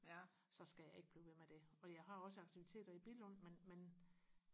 så skal jeg ikke blive ved med det og jeg har også aktiviteter i Billund men men